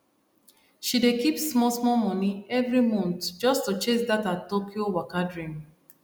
she dey keep smallsmall money every month just to chase that her tokyo waka dream